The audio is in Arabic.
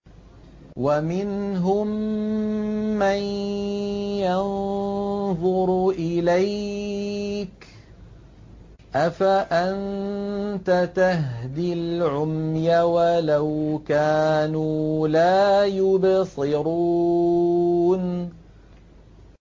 وَمِنْهُم مَّن يَنظُرُ إِلَيْكَ ۚ أَفَأَنتَ تَهْدِي الْعُمْيَ وَلَوْ كَانُوا لَا يُبْصِرُونَ